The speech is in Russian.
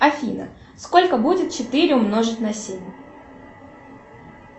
афина сколько будет четыре умножить на семь